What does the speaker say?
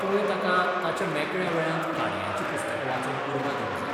तुवें ताका ताच्या मेकळ्या वेळांत काणयांचीं पुस्तकां वाचूंक उर्बा दिवंक जाय.